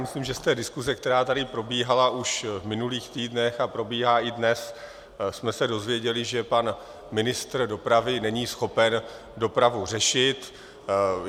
Myslím, že z té diskuse, která tady probíhala už v minulých týdnech a probíhá i dnes, jsme se dozvěděli, že pan ministr dopravy není schopen dopravu řešit.